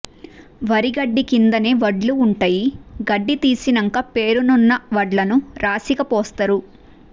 వరిగడ్డి కిందనే వడ్లు ఉంటయి గడ్డి తీసినంక పేరునున్న వడ్లను రాశిగ పోస్తరు